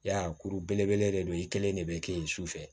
Ya kuru belebele de don i kelen de bɛ kɛ yen sufɛ